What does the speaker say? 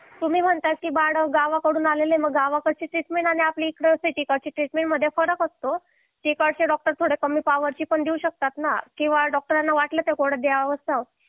तुम्ही म्हणतात की बाळ गावाकडून आलेला आहे मग गावाकडची ट्रीटमेंट आणि आपल्याकडची ट्रीटमेंट याच्यामध्ये फरक असतो तिकडचे डॉक्टर थोडी कमी पावरची पण देऊ शकतात ना किंवा डॉक्टरांना वाटलं थोडं द्यावं